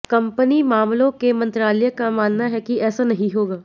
company मामलों के मंत्रालय का मानना है कि ऐसा नहीं होगा